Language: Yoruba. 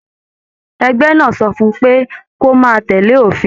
Ẹgbẹ náà sọ fún pé, kò máa tẹlé òfin.